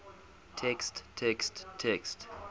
text text text